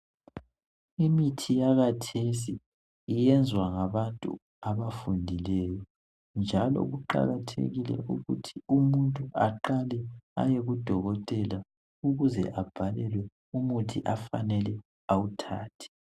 Imithi yakhathesi yenzwa ngabantu abafundileyo. Njalo kuqakathekile ukuthi umuntu aqale ayekudokotela ukuze abhalelwe umuthi afanele awuthathe.